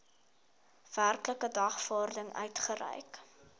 werklike dagvaarding uitgereik